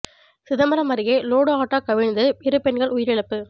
சிதம்பரம் அருகே load auto கவிழ்ந்து இரு பெண்கள் உயிர் இழப்பு